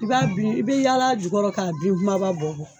I b'a bin i bɛ yaala jukɔrɔ k'a bin kumaba bɔ bɔ.